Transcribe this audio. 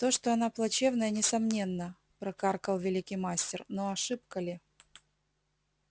то что она плачевная несомненно прокаркал великий мастер но ошибка ли